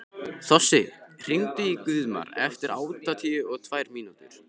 Þossi, hringdu í Guðmar eftir áttatíu og tvær mínútur.